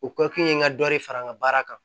U ka kun ye n ka dɔ de fara n ka baara kan